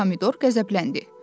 Pomidor qəzəbləndi.